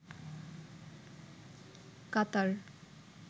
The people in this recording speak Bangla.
কাতার